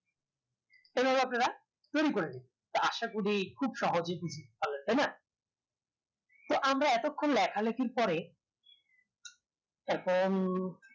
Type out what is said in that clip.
এনারা আপনারা pin করেন দিন আসা করি খুব সহজে খুব ভালো তাই না তো আমরা এতক্ষন লেখালেখির পরে এখন